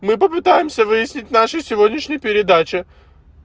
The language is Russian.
мы попытаемся выяснить нашей сегодняшней передаче